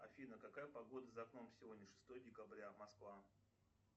афина какая погода за окном сегодня шестое декабря москва